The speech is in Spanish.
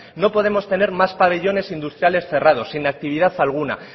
no podemos tener más pabellones industriales cerrados sin actividad alguna